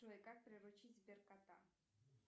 джой как приручить сбер кота